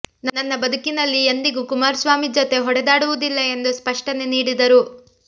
ನನ್ನ ಬದುಕಿನಲ್ಲಿ ಎಂದಿಗೂ ಕುಮಾರಸ್ವಾಮಿ ಜತೆ ಹೊಡೆದಾಡುವುದಿಲ್ಲ ಎಂದು ಸ್ಪಷ್ಟನೆ ನೀಡಿದರು